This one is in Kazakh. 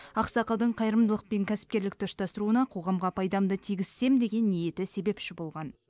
ақсақалдың қайырымдылық пен кәсіпкерлікті ұштастыруына қоғамға пайдамды тигізсем деген ниеті себепші болған